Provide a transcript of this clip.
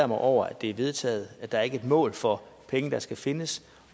mig over at det er vedtaget at der ikke er et mål for penge der skal findes